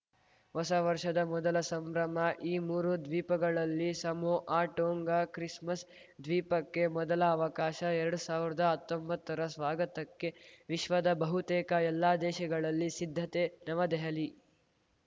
ಹೊಸ ವರ್ಷದ ಮೊದಲ ಸಂಭ್ರಮ ಈ ಮೂರು ದ್ವೀಪಗಳಲ್ಲಿ ಸಮೋಆ ಟೋಂಗಾಕ್ರಿಸ್‌ಮಸ್‌ ದ್ವೀಪಕ್ಕೆ ಮೊದಲ ಅವಕಾಶ ಎರಡ್ ಸಾವಿರ್ದಾ ಹತ್ತೊಂಬತ್ತರ ಸ್ವಾಗತಕ್ಕೆ ವಿಶ್ವದ ಬಹುತೇಕ ಎಲ್ಲಾ ದೇಶಗಳಲ್ಲಿ ಸಿದ್ಧತೆ ನವದೆಹಲಿ